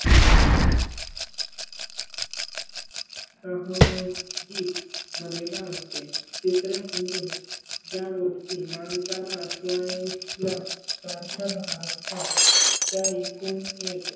सह जी मर्यादा असते तिसरे म्हणजे ज्या गोष्टी माणसा ला आठवणी ला सारख्या भास तात त्या एकूण एक.